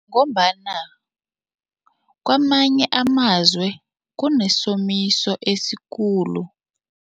Ngombana kwamanye amazwe kunesomiso esikhulu.